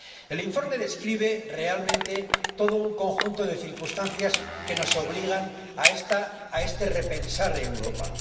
El informe describe realmente todo un conjunto de circunstancias que nos obligan a este repensar Europa.